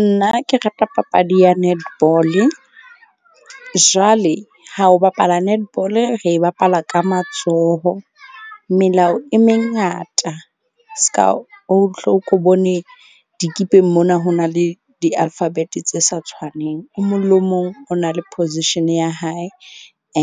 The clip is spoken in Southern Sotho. Nna ke rata papadi ya netball-e, jwale ha ho bapala netball-e, re bapala ka matsoho melao e mengata. Seka o hlo ko bone dikipeng mona ho na le di-alphabet-e tse sa tshwaneng. O mong le o mong o na le position ya hae